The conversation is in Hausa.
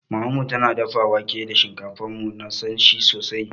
Mamanmu na dafa wake da shinkafa, mu na san shi sosai.